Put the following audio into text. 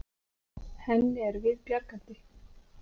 Henni er við bjargandi.